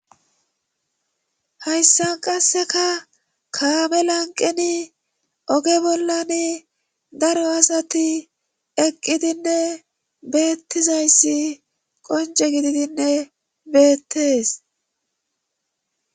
Hayssan qasseka kaame lanqeni oge bollan daro asati eqqidinne beettizayssi qonce gididinne beettees.